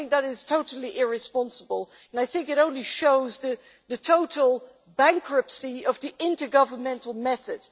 I think that is totally irresponsible and only shows the total bankruptcy of the intergovernmental method.